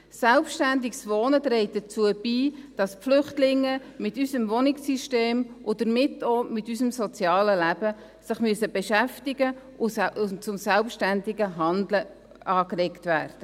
Selbstständiges Wohnen trägt dazu bei, dass die Flüchtlinge sich mit unserem Wohnungssystem, und damit auch mit unserem sozialen Leben, beschäftigen müssen und zu selbstständigem Handeln angeregt werden.